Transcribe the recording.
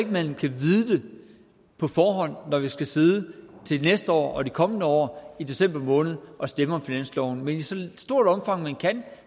man kan vide på forhånd når vi skal sidde til næste år og de kommende år i december måned og stemme om finansloven men i så stort omfang man kan